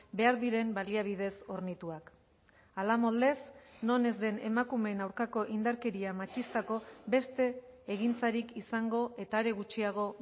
behar diren baliabidez hornituak hala moldez non ez den emakumeen aurkako indarkeria matxistako beste egintzarik izango eta are gutxiago